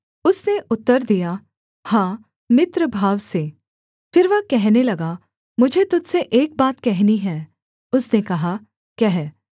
उसने उत्तर दिया हाँ मित्रभाव से फिर वह कहने लगा मुझे तुझ से एक बात कहनी है उसने कहा कह